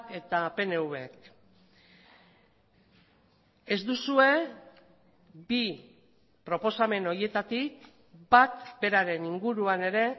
eta pnvk ez duzue bi proposamen horietatik bat beraren inguruan ere